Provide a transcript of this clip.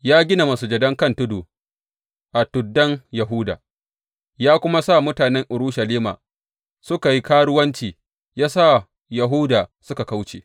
Ya gina masujadan kan tudu a tuddan Yahuda, ya kuma sa mutanen Urushalima suka yi karuwanci, ya sa Yahuda suka kauce.